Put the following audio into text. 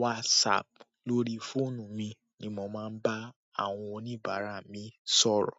WhatsApp. Lórí fóònù mi ni mo máa ń bá àwọn oníbàárà mi sọ̀rọ̀.